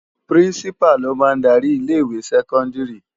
Pirinsipá ló má n dári ilé iwé sèkòndári